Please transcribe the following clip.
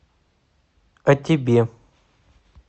а тебе